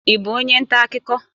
Ị bụ onye nta akụkọ?